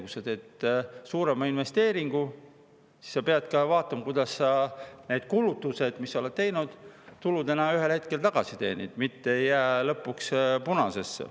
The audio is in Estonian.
Kui sa teed suurema investeeringu, siis sa pead vaatama, kuidas sa need kulutused, mis sa oled teinud, ühel hetkel tuludena tagasi teenid, mitte ei jää lõpuks punasesse.